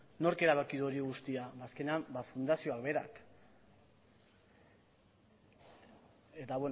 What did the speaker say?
nork erabaki du hori guztia azkenean ba fundazioa berak eta